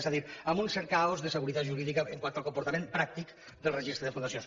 és a dir amb un cert caos de seguretat jurídica quant al comportament pràctic del registre de fundacions